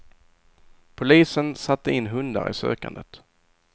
Polisen satte in hundar i sökandet.